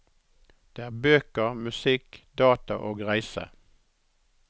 Det er bøker, musikk, data og reise.